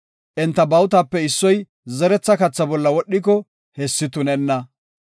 Enta bawutape issoy zeretha katha bolla wodhiko, hessi tunenna.